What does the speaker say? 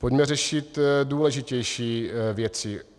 Pojďme řešit důležitější věci.